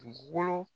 Dugukolo